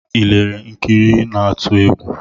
I lelere nkiri na-atu egwu?